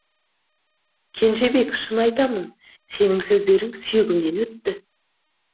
кенжебек шын айтамын сенің сөздерің сүйегімнен өтті